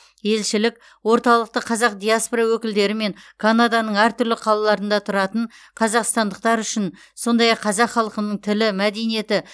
елшілік орталықты қазақ диаспора өкілдері мен канаданың әртүрлі қалаларында тұратын қазақстандықтар үшін сондай ақ қазақ халқының тілі мәдениеті